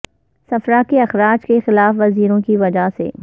صفرا کے اخراج کی خلاف ورزیوں کی وجہ سے